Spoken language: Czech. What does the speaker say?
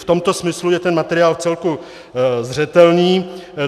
V tomto smyslu je ten materiál vcelku zřetelný.